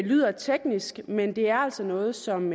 lyder teknisk men det er altså noget som